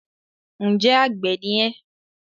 Ǹjẹ́ àgbẹ̀ ni ẹ́?